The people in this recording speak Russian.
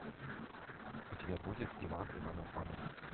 у тебя будет иван иванов вано